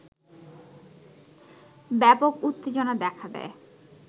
ব্যাপক উত্তেজনা দেখা দেয়